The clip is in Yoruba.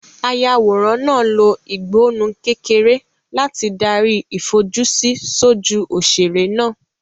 Ayàwòrán náà lo ìgbọnnu kékeré láti darí ìfojúsí sójú òṣèré náà.